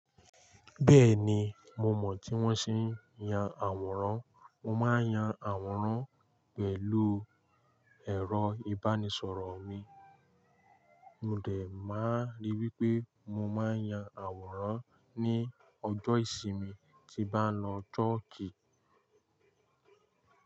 Bẹ́ẹ̀ni, mo mọ̀ tí wọ́n se ń ya àwòrán. Mo máa ń yan àwòrán pẹ̀lú ẹ̀rọ ìbánisọ̀rọ̀ mi. Mo dẹ̀ máa ríi wípé mo máa ń ya àwòrán ní ọjọ́ ìsinmi tín bá lọ churchi.